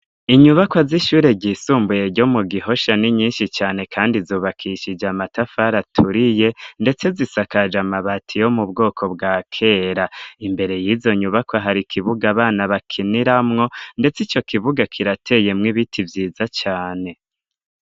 Inyubakwa z'ishure ryisumbuye ryo mu Gihosha ni nyinshi cane kandi zubakishije amatafar 'aturiye ndetse zisakaje amabati yo mu bwoko bwa kera, imbere yizo nyubakwa har'ikibuga abana bakiniramwo ndets' ico kibuga kirateyemw' ibiti vyiza cane.